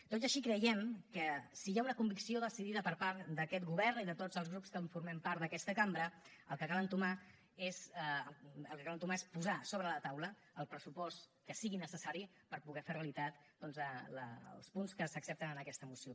tot i així creiem que si hi ha una convicció decidida per part d’aquest govern i de tots els grups que formem part d’aquesta cambra el que cal entomar és posar sobre la taula el pressupost que sigui necessari per poder fer realitat doncs els punts que s’accepten en aquesta moció